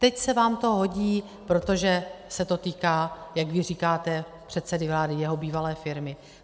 Teď se vám to hodí, protože se to týká, jak vy říkáte, předsedy vlády, jeho bývalé firmy.